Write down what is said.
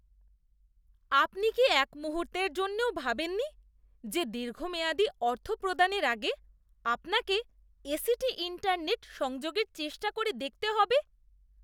আপনি কি এক মুহূর্তের জন্যও ভাবেননি যে দীর্ঘমেয়াদী অর্থ প্রদানের আগে আপনাকে এসিটি ইন্টারনেট সংযোগের চেষ্টা করে দেখতে হবে?